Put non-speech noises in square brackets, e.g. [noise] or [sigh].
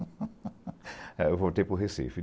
[laughs] Aí eu voltei para o Recife.